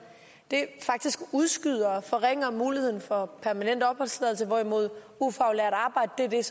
faktisk udskyder og forringer muligheden for permanent opholdstilladelse hvorimod ufaglært arbejde er